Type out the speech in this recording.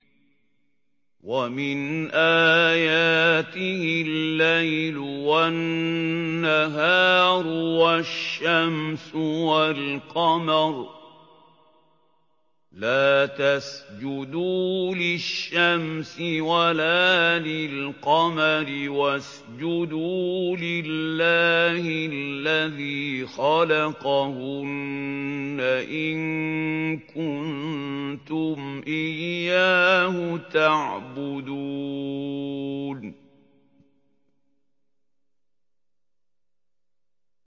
وَمِنْ آيَاتِهِ اللَّيْلُ وَالنَّهَارُ وَالشَّمْسُ وَالْقَمَرُ ۚ لَا تَسْجُدُوا لِلشَّمْسِ وَلَا لِلْقَمَرِ وَاسْجُدُوا لِلَّهِ الَّذِي خَلَقَهُنَّ إِن كُنتُمْ إِيَّاهُ تَعْبُدُونَ